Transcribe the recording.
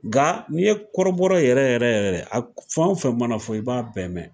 Nga n'i ye kɔrɔbɔrɔ yɛrɛ yɛrɛ yɛrɛ ye, a fɛn o fɛn mana fɔ, i b'a bɛɛ mɛn.